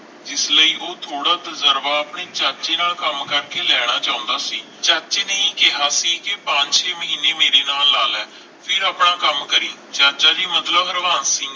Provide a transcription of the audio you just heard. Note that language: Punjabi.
ਜਿਸ ਲਈ ਉਹ ਥੋੜਾ ਤੁਜਰਬਾ ਆਪਣੇ ਚਾਚੇ ਨਾਲ ਕੰਮ ਕਰਕੇ ਲੈਣਾ ਚਾਹੁੰਦਾ ਸੀ ਚਾਚੇ ਨੇ ਹੀ ਕਿਹਾ ਸੀ ਕਿ ਪੰਜ ਛੇ ਮਹੀਨੇ ਮੇਰੇ ਨਾਲ ਲਾ ਲੈ ਫਿਰ ਆਪਣਾ ਕੰਮ ਕਰੀ ਚਾਚਾ ਜੀ ਮਤਲਬ ਹਰਵਾਬ ਸਿੰਘ